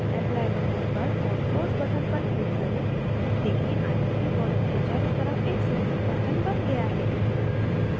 apply button पर और close button पर click करें देखें आयत के border के चारों तरफ एक सुन्दर pattern button गया है